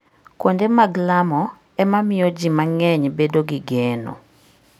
Kuonde mag lamo ema miyo ji mang'eny bedo gi geno.